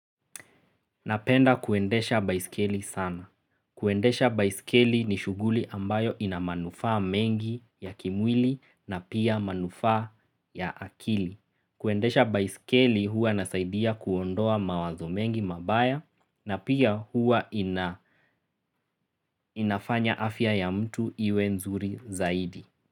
Napenda kuendesha baiskeli sana. Kuendesha baiskeli ni shuguli ambayo ina manufaa mengi ya kimwili na pia manufaa ya akili. Kuendesha baiskeli huwa nasaidia kuondoa mawazo mengi mabaya na pia huwa ina inafanya afya ya mtu iwe nzuri zaidi.